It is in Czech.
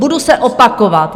Budu se opakovat.